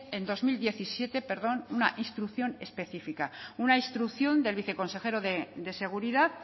en dos mil diecisiete una instrucción específica una instrucción del viceconsejero de seguridad